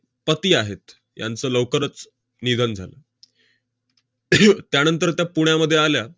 पती आहेत, त्यांचं लवकरच निधन झालं. त्यानंतर त्या पुण्यामध्ये आल्या,